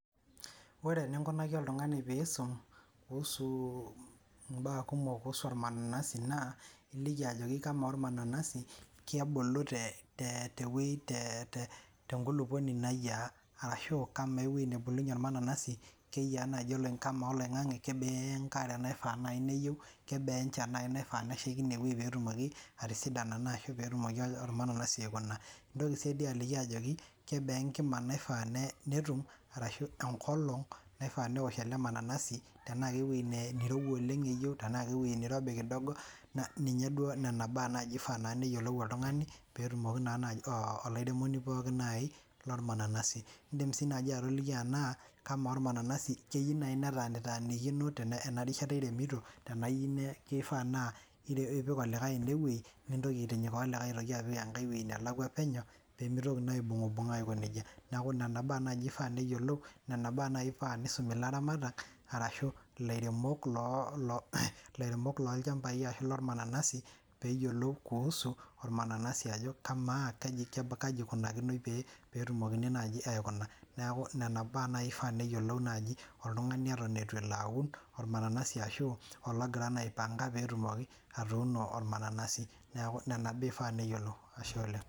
Ore enikunaki oltung'ani piisum kuhusu imbaa kumok kuhusu ormananasi naa iliki ajoki kamaa ormananasi kebulu te tewueji te tenkulupuoni nayiaa arashu kamaa ewueji nebulunyie ormananasi keyia naaji kamaa oloing'ang'e kebaa enkare naifaa naaji neyieu kebaa enchan naaji naifaa neshaiki inewueji petumoki atisidana naa ashu petumoki ormananasi aikuna intoki sii dii aliki ajoki kebaa enkima naifaa netum arashu enkolong naifaa newosh ele mananasi tenaa kewueji nee neirowua oleng eyieu tenaa kewueji neirobi kidogo ninye duo nena baa naaji ifaa naa neyiolou oltung'ani petumoki naa olairemoni pookin naaji lormananasi iindim sii naaji atoliki anaa kamaa ormananasi keyieu naaji netanitanikino tena ena rishata iremito tenaa iyieu kifaa naa ipik olikae enewueji nintoki aitinyikaa olikae aitoki apik enkae wueji nelakua penyo pemitoki naa aibung'ubung'a aiko nejia neku nana baa naaji ifaa neyiolou nena baa naaji ifaa nisumi ilaramatak arashu ilairemok loo loo ilairemok lolchambai arashu ilormananasi peyiolou kuhusu ormananasi ajo kamaa kaji ikunakinoi pee petumokini naaji aikuna neeku nena baa naaji ifaa neyiolou naaji oltung'ani eton etu elo aun ormananasi ashu ologira naa aipanga petumoki atuuno ormananasi neku nena baa ifaa neyiolou ashe oleng.